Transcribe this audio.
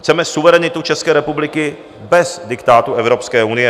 Chceme suverenitu České republiky bez diktátu Evropské unie.